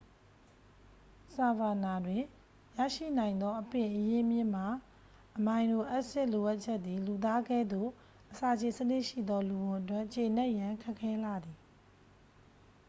ဆာဗာနာတွင် ရရှိနိုင်သော အပင်အရင်းမြစ်မှ အမိုင်နိုအက်စစ်လိုအပ်ချက်သည် လူသားကဲ့သို့အစာချေစနစ်ရှိသော လူဝံအတွက် ကျေနပ်ရန် ခက်ခဲလှသည်